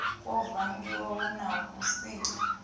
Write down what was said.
kwo vangiwa hu na vhusiki